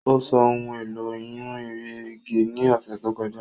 Ó sọ ohun èlò ìyún erìgì ní ọ̀sẹ̀ tó kọjá